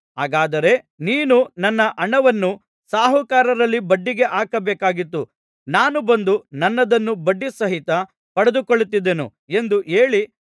ಹಾಗಾದರೆ ನೀನು ನನ್ನ ಹಣವನ್ನು ಸಾಹುಕಾರರಲ್ಲಿ ಬಡ್ಡಿಗೆ ಹಾಕಬೇಕಾಗಿತ್ತು ನಾನು ಬಂದು ನನ್ನದನ್ನು ಬಡ್ಡಿ ಸಹಿತ ಪಡೆದುಕೊಳ್ಳುತ್ತಿದ್ದೆನು ಎಂದು ಹೇಳಿ